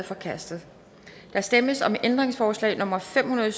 forkastet der stemmes om ændringsforslag nummer fem hundrede